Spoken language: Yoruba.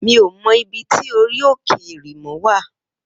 Mi ó mò ibi ti óri óké érimò wá